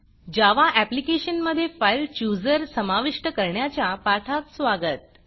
जावा ऍप्लिकेशनमधे file chooser file chooser समाविष्ट करण्याच्या पाठात स्वागत